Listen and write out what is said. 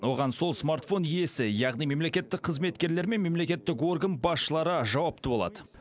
оған сол смартфон иесі яғни мемлекеттік қызметкерлер мен мемлекеттік орган басшылары жауапты болады